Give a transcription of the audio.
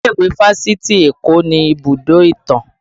Ilé ìwé fásitì Eko ni ibùdó ìtàn